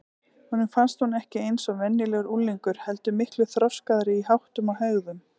Honum fannst hún ekki eins og venjulegur unglingur heldur miklu þroskaðri í háttum og hegðun.